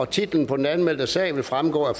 titlen på den anmeldte sag vil fremgå af